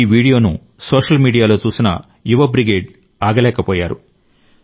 ఈ వీడియోను సోషల్ మీడియాలో చూసిన యువ బ్రిగేడ్ ఆగలేకపోయారు